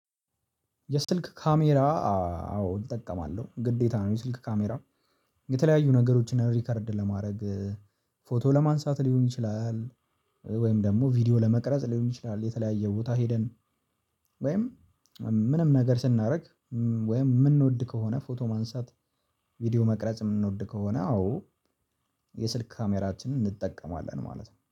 የስልክ ካሜራ አዎ እጠቀማለሁ ግዴታ ነው። የስልክ ካሜራ የተለያዩ ነገሮችን ሪከርድ ለማድረግ ፎቶ ለማንሳት ሊሆን ይችላል። ወይም ደግሞ ቪዲዮ ለመቅረጽ ሊሆን ይችላል። የተለያየ ቦታ ሄደን ወይም ምንም ነገር ስናደርግ ወይም የምንወድ ከሆነ ፎቶ ማንሳት ቪዲዮ መቅረጽ የምንወድ ከሆነ አዎ። የስልክ ካሜራችንን እንጠቀማለን ማለት ነው።